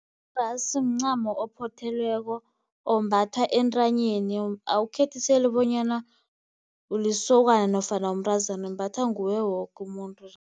Irasu mncamo ophothelweko ombathwa entanyeni awukhethiseli bonyana ulisokana nofana umntazana umbathwa nguye woke umuntu.